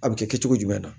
A bɛ kɛ kɛcogo jumɛn na